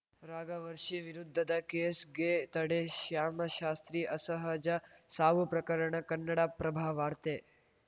ರಾಘವಶ್ರೀ ವಿರುದ್ಧದ ಕೇಸ್ಗೆ ತಡೆ ಶ್ಯಾಮಶಾಸ್ತ್ರಿ ಅಸಹಜ ಸಾವು ಪ್ರಕರಣ ಕನ್ನಡಪ್ರಭ ವಾರ್ತೆ